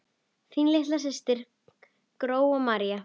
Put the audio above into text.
Þín litla systir, Gróa María.